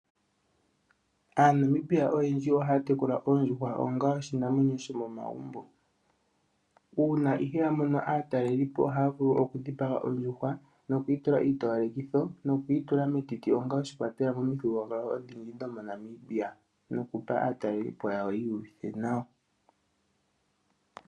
AaNamibia oyendji ohaya tekula oondjuhwa onga oshinamwenyo shomomagumbo. Uuna ihe ya mono aatalelipo ohaya vulu okudhipaga ondjuhwa nokuyitula iitowalekitho nokuyitula metiti onga oshikwatelwa momuthigululwakalo odhindji dhomoNamibia nokupa aatalelipo yawo yiihuvithe nawa.